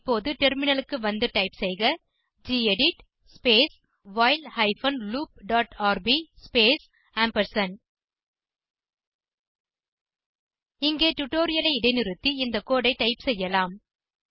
இப்போது டெர்மினலுக்கு வந்து டைப் செய்க gedit space while hyphen loop dot rb space இங்கே டுடோரியலை இடைநிறுத்தி இந்த கோடு ஐ டைப் செய்யலாம்